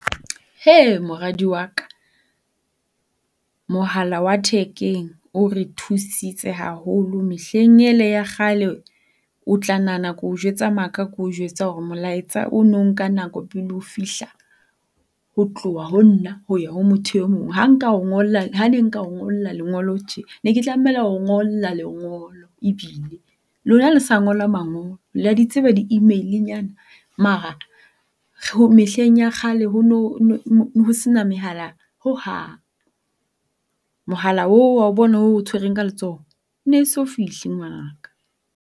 Moradi wa ka, mohala wa thekeng o re thusitse haholo. Mehleng e le ya kgale, o tla nahana ke o jwetsa maka ha ke o jwetsa hore molaetsa o no nako pele o fihla. Ho tloha ho nna ho ya ho mothong e mong. Ha nka o ngolla ha ne nka o ngolla lengolo tje, ne ke tlamela ho o ngolla lengolo ebile. Lona ha le sa ngola mangolo. Le a di tseba di-email-nyana? Mara mehleng ya kgale ho no se na mehala hohang. Mohala oo wa o bona o o tshwereng ka letsoho e no fihle ngwanaka.